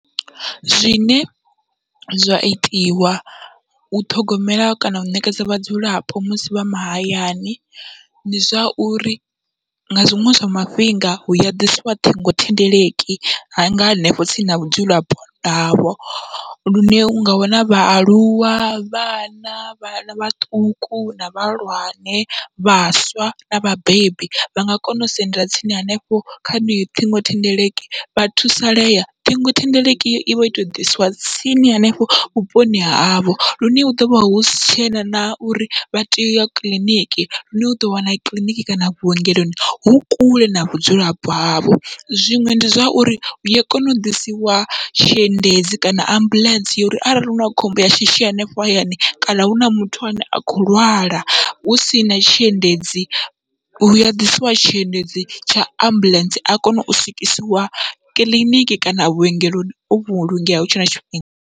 Zwine zwa itiwa u ṱhogomela kana u ṋekedza vhadzulapo musi vha mahayani, ndi zwauri nga zwiṅwe zwa mafhinga hua ḓisiwa ṱhingothendeleki hanga hanefho tsini na vhadzulapo havho lune unga wana vhaaluwa, vhana, vhana vhaṱuku na vhahulwane vhaswa na vhabebi, vhanga kona u sendela tsini hanefho kha heneyo ṱhingothendeleki vha thusalea. Ṱhingothendeleki ivha ito ḓisiwa tsini hanefho vhuponi havho, lune hu ḓovha husi tshena na uri vha tea uya kiḽiniki lune uḓo wana kiḽiniki kana vhuongeloni hu kule na vhudzulapo havho, zwiṅwe ndi zwa uri uya kona u ḓisiwa tshiendedzi kana ambuḽentse ya uri arali huna khombo ya shishi hanefho hayani kana huna muthu ane a kho lwala husina tshiendedzi hua ḓisiwa tshiendedzi tsha ambuḽentse, a kone u swikisiwa kiḽiniki kana vhuongeloni o vhulungeya hutshe na tshifhinga.